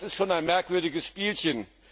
Das ist schon ein merkwürdiges Spielchen.